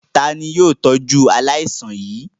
Ta ni yóò tọ́jú aláìsàn yìí?